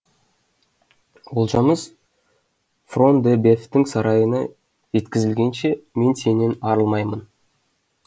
олжамыз фрон де бефтің сарайына жеткізілгенше мен сенен арылмаймын